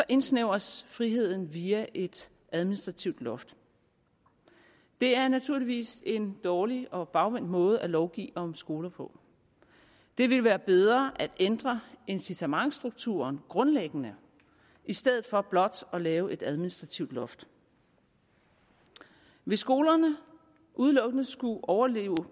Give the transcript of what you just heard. indsnævres friheden via et administrativt loft det er naturligvis en dårlig og bagvendt måde at lovgive om skoler på det ville være bedre at ændre incitamentsstrukturen grundlæggende i stedet for blot at lave et administrativt loft hvis skolerne udelukkende skulle overleve